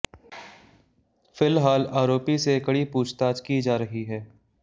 फिलहाल आरोपी से कड़ी पूछताछ की जा रही है